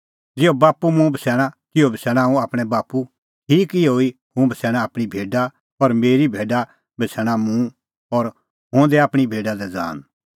ज़िहअ बाप्पू मुंह बछ़ैणा तिहअ बछ़ैणा हुंह आपणैं बाप्पू ठीक इहअ ई हुंह बछ़ैणा आपणीं भेडा और मेरी भेडा बछ़ैणा मुंह और हुंह दैआ आपणीं भेडा लै ज़ान